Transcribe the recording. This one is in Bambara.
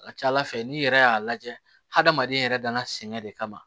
A ka ca ala fɛ n'i yɛrɛ y'a lajɛ hadamaden yɛrɛ dana sɛŋɛ de kama